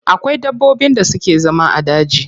Akwai dabbobin da suke zama a daji.